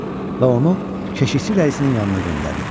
Və onu keşişçi rəisinin yanına göndərdi.